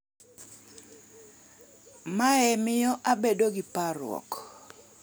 "Mae miyo abedo gi parruok."""